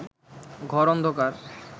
ঘর অন্ধকার